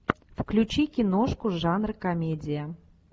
включи киношку жанр комедия